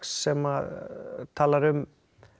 sem að talar um